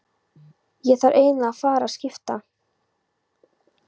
Ég þarf eiginlega að fara að skipta.